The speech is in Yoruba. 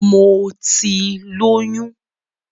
Mo ti lóyún